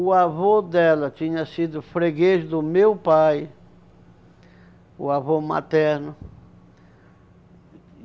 O avô dela tinha sido freguês do meu pai, o avô materno.